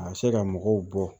A bɛ se ka mɔgɔw bɔ